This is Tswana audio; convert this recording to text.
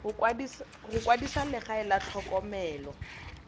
go kwadisa legae la tlhokomelo